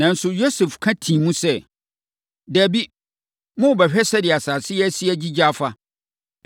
Nanso, Yosef ka tii mu sɛ, “Dabi, morebɛhwɛ sɛdeɛ asase no asi agyigya afa.”